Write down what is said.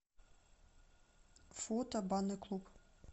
фото банный клуб